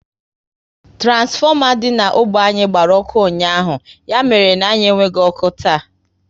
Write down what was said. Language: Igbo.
Turansfoma dị na ógbè anyị gbara ọkụ ụnyaahụ, ya mere na anyị enweghị ọkụ taa